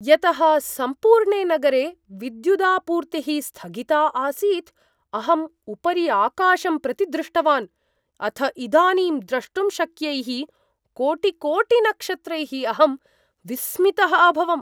यतः सम्पूर्णे नगरे विद्युदापूर्तिः स्थगिता आसीत्, अहम् उपरि आकाशं प्रति दृष्टवान्। अथ इदानीं द्रष्टुं शक्यैः कोटिकोटिनक्षत्रैः अहं विस्मितः अभवम्।